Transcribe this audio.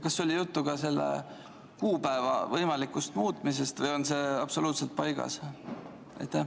Kas oli juttu selle kuupäeva võimalikust muutmisest või on see absoluutselt paigas?